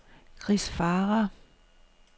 Kris Farah